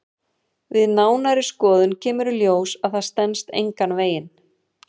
Við nánari skoðun kemur í ljós að það stenst engan veginn.